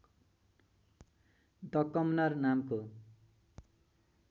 the commoner नामको